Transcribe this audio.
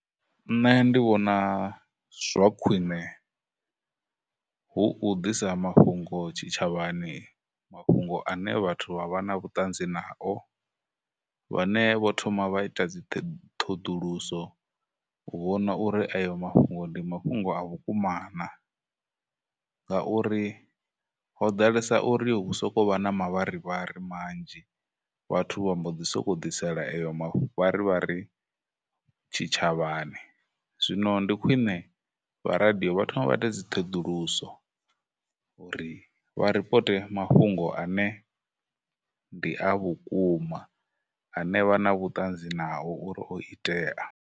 Nṋe ndi vhona zwa khwine hu u ḓisa mafhungo tshitshavhani, mafhungo ane vhathu vha vha na vhutanzi nao, vhane vho thoma vha ita dzi ṱhoḓuluso u vhona uri ayo mafhungo ndi mafhungo a vhukuma na, ngauri ho ḓalesa uri hu sokou vha na mavharivhari manzhi vhathu vha mbo ḓi sokou ḓisela eyo mavharivhari tshitshavhani. Zwino ndi khwine vha radio vha thome vha ite dziṱhoḓuluso uri vha reports mafhungo ane ndi a vhukuma, ane vha na vhutanzi nao uri o itea.